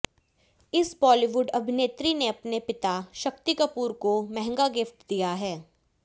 इस बॉलीवुड अभिनेत्री ने अपने पिता शक्ति कपूर को मंहगा गिफ्ट दिया है